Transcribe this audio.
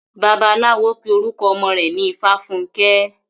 Bàbáláwo pé orukọ ọmọ rẹ̀ ní Ifáfunkẹ́.